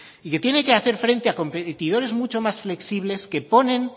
y que tiene que hacer frente a competidores muchos más flexibles que ponen